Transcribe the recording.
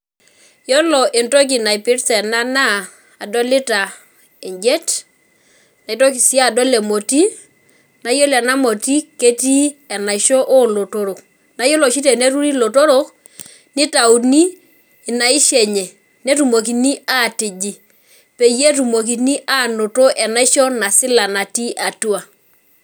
Yiolo entoki naipirta ena naa adolita ena naa adolita enjet, naitoki si adol emoti naa yiolo ena moti ketii enaisho olotorok , naa yiolo oshi teneturi ilotorok , nitauni inaisho enye, netumokini atiji peyie etumokini anoto enaisho nasila natii atua.